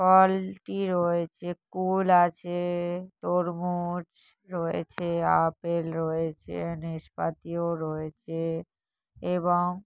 ফল-টি রয়েছে কুল আছে-এ-এ তরমুজ রয়েছে আপেল রয়েছে নেসপাতিও রয়েছে এবং--